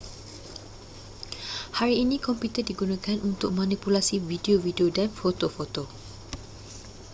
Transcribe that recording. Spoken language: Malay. hari ini komputer digunakan untuk manipulasi video-video dan foto-foto